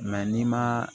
n'i ma